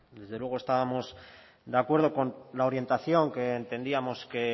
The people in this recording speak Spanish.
desde luego estábamos de acuerdo con la orientación que entendíamos que